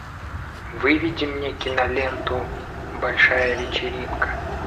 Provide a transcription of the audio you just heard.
выведи мне киноленту большая вечеринка